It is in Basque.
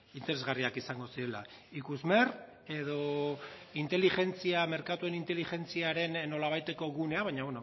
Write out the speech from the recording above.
interesgarriak izango zirela ikusmer edo merkatuen inteligentziaren nolabaiteko gunea baina